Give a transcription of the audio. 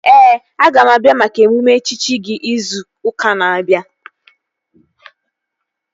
Ee, aga m abịa maka emume echichi gị izu ụka na-abịa